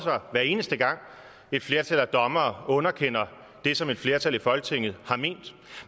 sig hver eneste gang et flertal af dommere underkender det som et flertal i folketinget har ment